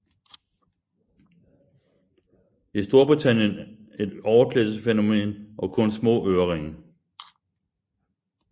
I Storbritannien et overklassefænomen og kun små øreringe